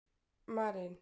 Marín